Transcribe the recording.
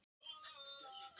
Þá var ég mjög ung.